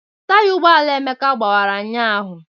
Taya ụgbọala Emeka gbawara ụnyaahụ.